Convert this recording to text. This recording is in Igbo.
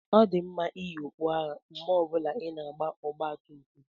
Ọ dị mma iyi okpu agha mgbe ọ bụla ị na-agba ọgba tum tum.